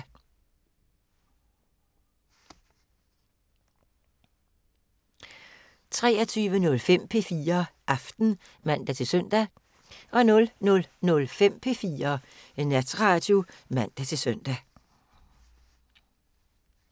23:05: P4 Aften (man-søn) 00:05: P4 Natradio (man-søn)